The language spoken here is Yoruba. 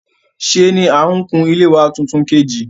Sé ni n kun ilé wa tuntun kìtà